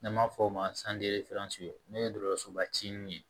N'an b'a fɔ o ma n'o ye dɔgɔtɔrɔsoba ci in ye